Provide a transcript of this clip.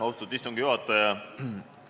Austatud istungi juhataja!